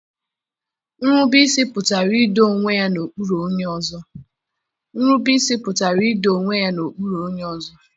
Nrubeisi pụtara ido onwe ya n'okpuru onye ọzọ.